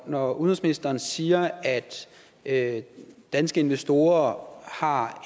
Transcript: når udenrigsministeren siger at danske investorer har